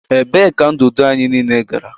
Ebee ka ndụdụ anyị niile gara?